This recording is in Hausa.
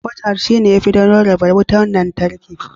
"Cutouts"shi ne yafi don rarraba wutar lantarki.